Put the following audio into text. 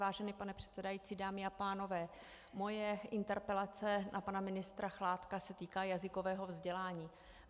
Vážený pane předsedající, dámy a pánové, moje interpelace na pana ministra Chládka se týká jazykového vzdělání.